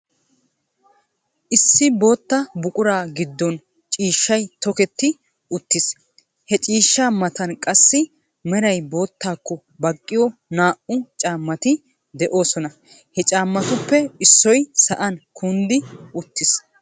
Issi bootta buquraa giddon ciishshay tokketti uttiis. He ciishshaa matan qassi meray boottaakko baqqiyo naa"u caammati de'oosona. He caammatuppe issoy sa'an kunddi uttiis.